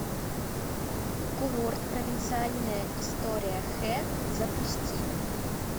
курорт провинциальная история хэ запусти